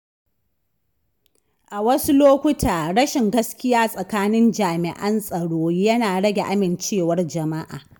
A wasu lokuta, rashin gaskiya tsakanin jami’an tsaro yana rage amincewar jama’a.